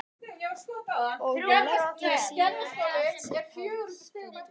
Og leggja síðan allt sitt í hans hendur.